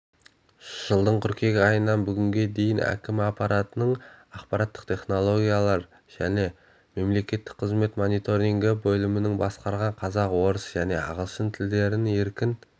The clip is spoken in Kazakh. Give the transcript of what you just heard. жылдың қыркүйек айнынан бүгінге дейін әкімі аппаратының ақпараттық технологиялар және мемлекеттік қызмет мониторингі бөлімін басқарған қазақ орыс және ағылшын тілдерін еркін